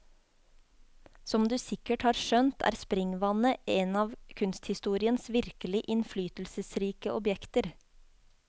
Som du sikkert har skjønt er springvannet en av kunsthistoriens virkelig innflytelsesrike objekter.